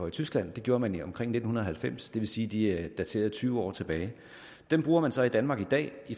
i tyskland det gjorde man omkring nitten halvfems så det vil sige at de er dateret tyve år tilbage dem bruger man så i danmark i dag